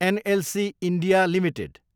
NLC India Ltd